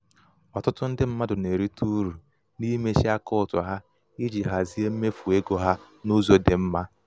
ọtụtụ ndị mmadụ na-erite uru n'imechi akaụtụ ha iji hazie mmefu ego mmefu ego ha n' ụzọ dị mma.